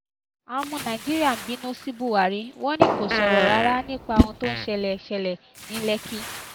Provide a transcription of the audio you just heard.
àwọn ọmọ nàìjíríà bínú sí buhari wọn ni kò sọ̀rọ̀ rárá nípa ohun tó ṣẹlẹ̀ ṣẹlẹ̀ ní lékì